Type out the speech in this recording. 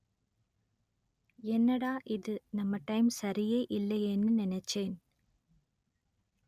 என்னடா இது நம்ம டைம் சரியே இல்லையேன்னு நினைச்சேன்